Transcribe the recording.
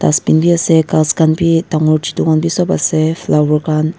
dustbin bi ase ghas khan bi dangor chutu khan vi sob ase flower khan.